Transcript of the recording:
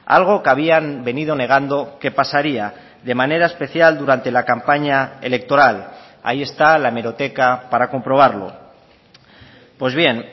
algo que habían venido negando que pasaría de manera especial durante la campaña electoral ahí está la hemeroteca para comprobarlo pues bien